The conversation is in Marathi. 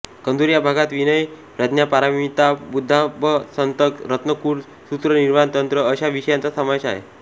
कंजूर या भागात विनय प्रज्ञापारमिता बुद्धाबतंसक रत्नकूट सूत्र निर्वाण तंत्र अशा विषयांचा समावेश आहे